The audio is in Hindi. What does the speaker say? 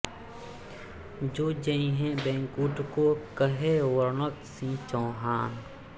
सो जैईहैं बैकुंठ को कहे वरणत सिंह चौहान